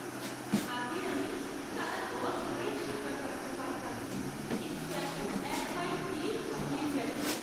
আগে আমি টানা দশ মাইল সাঁতার কাটতে পারতাম, কিন্তু এখন এক মাইল গিয়েই হাঁপিয়ে যাই।